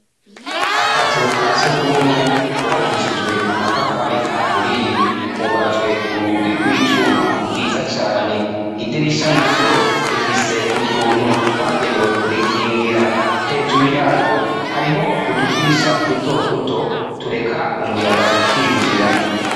Akazu ka sugumwe kubakishijwe amatafari aturiye ,kugajwe urugi rw'icuma rwiza cane, idirisha naryo rifise utuntu twagenewe kurikingira hejuru yaryo hariho utudirisha duto duto tureka umuyaga ukinjira.